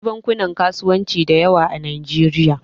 Akwai bankunan kasuwanci da yawa a Najeriya.